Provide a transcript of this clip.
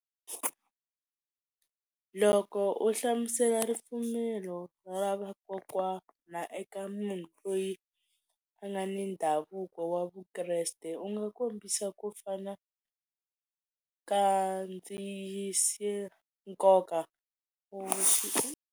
Loko u hlamusela ripfumelo ra vakokwana eka munhu loyi a nga ni ndhavuko wa Vukreste u nga kombisa ku fana ka nkoka .